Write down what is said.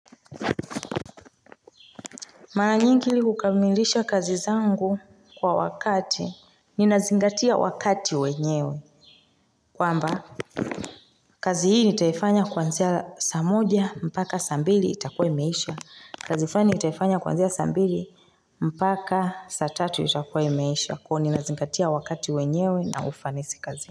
Mara nyingi hukamilisha kazi zangu kwa wakati. Ninazingatia wakati wenyewe. Kwamba kazi hii nitaifanya kwanzia saa moja, mpaka saa mbili itakuwa imeisha. Kazi fulani nitaifanya kwanzia saa mbili, mpaka saa tatu itakuwa imeisha. Kuwa ninazingatia wakati wenyewe na ufanisi kazi.